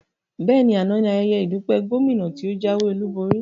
Bẹ́ẹ̀ni, àná ní ayẹyẹ ìdúpẹ́ Gómìnà tí o jáwé olúborí